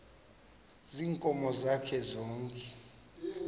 ziinkomo zakhe zonke